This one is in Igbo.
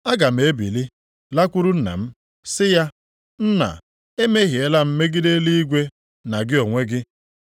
Aga m ebili lakwuru nna m, sị ya, Nna, emehiela m megide eluigwe na gị onwe gị.